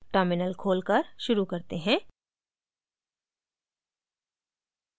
terminal खोलकर शुरू करते हैं